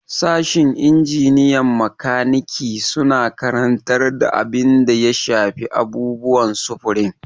Sashin injiniyan makaniki suna karantar duk abin da ya shafi abubuwan sufurin.